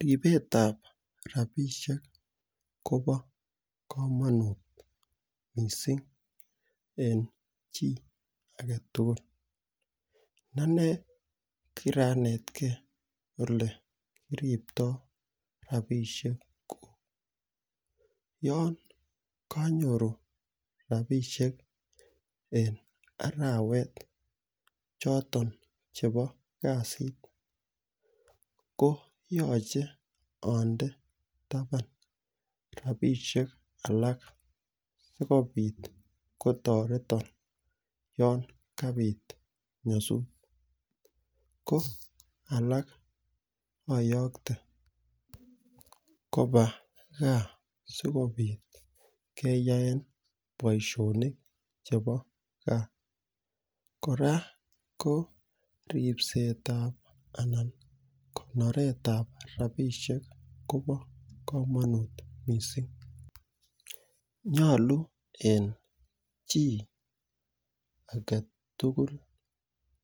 Ripet ap rapishek ko pa kamanut missing' eng' chi age tugul. Ane kira netgei ole kiriptoi rapishek. Yan kanyoru rapishek en arawet choton chepo kasit ko yache ande tapan rapishek alak asikopit kotaretan yan kapiit nyasut. Ko alak ayakte kopa gaa asikopit keyaen poishonik chepo gaa. Kora ko ripset ap anan konoret ap rapishek ko pa kamanut missing'. Nyalu en chi age tugul